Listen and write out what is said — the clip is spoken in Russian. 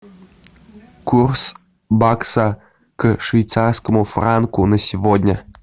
курс бакса к швейцарскому франку на сегодня